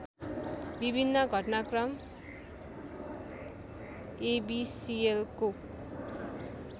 विभिन्न घटनाक्रम एबिसिएलको